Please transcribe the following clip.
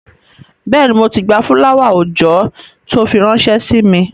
Bẹ́ẹ̀ni, mo ti gba fúláwà-oòjọ́ tó fi ránṣẹ́ sí mi